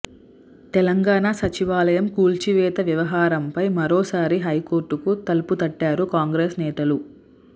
తెలంగాణ సచివాలయం కూల్చివేత వ్యవహారంపై మరో సారి హైకోర్టుకు తలుపు తట్టారు కాంగ్రెస్ నేతలు